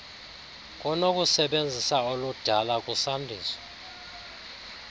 kunokusebenzisa oludala kusandiswa